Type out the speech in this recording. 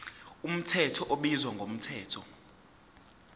mthetho ubizwa ngomthetho